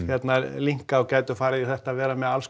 linka og gætu farið í þetta að vera með alls